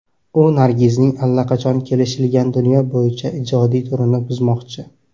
U Nargizning allaqachon kelishilgan dunyo bo‘yicha ijodiy turini buzmoqchi.